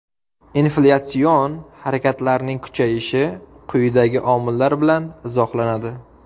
Inflyatsion xatarlarning kuchayishi quyidagi omillar bilan izohlanadi.